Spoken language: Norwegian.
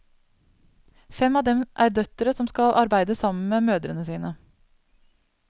Fem av dem er døtre som skal arbeide sammen med mødrene sine.